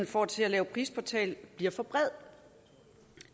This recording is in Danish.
får til at lave prisportal bliver for bred